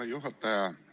Hea juhataja!